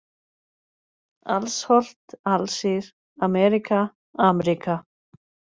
Alsholt, Alsír, Ameríka, Amríka